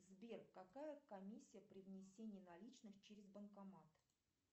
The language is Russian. сбер какая комиссия при внесении наличных через банкомат